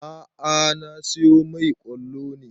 A'a na siyo mai ƙwallo ne